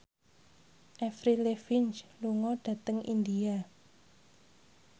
Avril Lavigne lunga dhateng India